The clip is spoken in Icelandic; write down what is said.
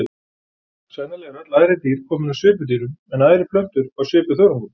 Sennilega eru öll æðri dýr komin af svipudýrum en æðri plöntur af svipuþörungum.